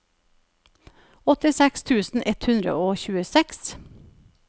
åttiseks tusen ett hundre og tjueseks